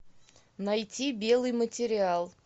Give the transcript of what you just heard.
найти белый материал